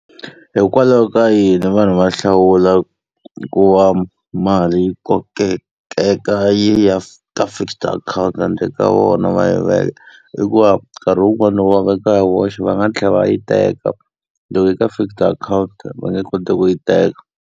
Hikwalaho ka yini vanhu va hlawula ku va mali yi kokeka yi ya ka fixed akhawunti handle ka vona va yi veka? Hikuva nkarhi wun'wani loko va veka ya voxe va nga tlhela va yi teka, loko yi ri ka fixed account va nge koti ku yi teka.